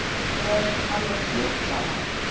Mér er alveg slétt sama.